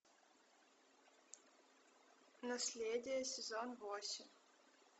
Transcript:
наследие сезон восемь